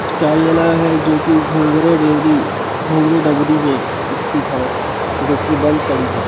कार्यालय है जो की घुंगरा देरी घुंगरा डबरी मे इसस्थित हैं जो की बंद पड़ी है।